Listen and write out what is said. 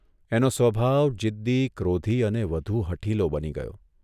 એનો સ્વભાવ જીદી, ક્રોધી અને વધુ હઠીલો બની ગયો.